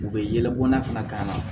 U bɛ yɛlɛbɔ n'a fana ka na